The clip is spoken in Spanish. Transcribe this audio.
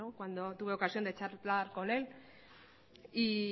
cuando tuve ocasión de charlar con él